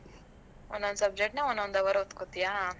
ಒಂದೊಂದು subject ನಾ, ಒಂದೊಂದು hour ಓದ್ಕೋತಿಯಾ?